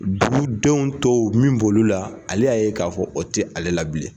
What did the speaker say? Dugudenw tɔw min bolo la ale y'a ye k'a fɔ o tɛ ale la bilen.